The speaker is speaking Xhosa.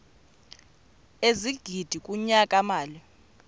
ezigidi kunyaka mali